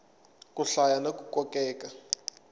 ku hlaya na ku kokeka